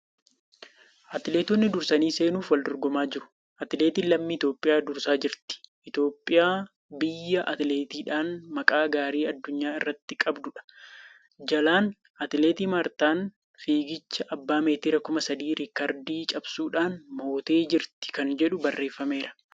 Atileetonni dursanii seenuuf wal dorgomaa jiru. Atileetiin lammii Itiyoophiyaa dursaa jirti. Itiyoophiyaa biyya atileetiksiidhaan maqaa gaarii addunyaa irratti qabduudha. Jalaan ' Atileet Maartaan fiigicha abbaa meetira 3000 riikardii cabsuudhaan mootee jirti ' kan jedhu barreeffameera.